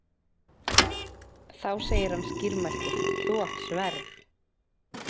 Þá segir hann skýrmæltur: Þú átt sverð.